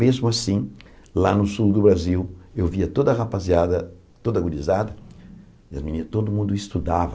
Mesmo assim, lá no sul do Brasil, eu via toda a rapaziada, toda a gurizada, as meninas, todo mundo estudava.